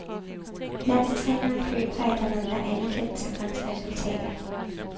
Landstræneren føler, at der mangler anerkendelse for hans resultater.